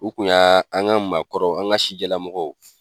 O kun y'a an ka maakɔrɔ, an ka sijɛ lamɔgɔw